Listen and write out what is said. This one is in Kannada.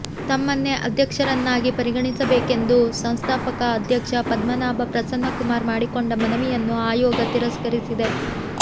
ತಮ್ಮನ್ನೇ ಅಧ್ಯಕ್ಷರನ್ನಾಗಿ ಪರಿಗಣಿಸಬೇಕೆಂದು ಸಂಸ್ಥಾಪಕ ಅಧ್ಯಕ್ಷ ಪದ್ಮನಾಭ ಪ್ರಸನ್ನಕುಮಾರ್ ಮಾಡಿಕೊಂಡ ಮನವಿಯನ್ನು ಆಯೋಗ ತಿರಸ್ಕರಿಸಿದೆ